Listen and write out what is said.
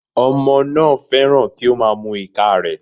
Ọmọ náà fẹ́ràn kí ó má a mu ìka rẹ̀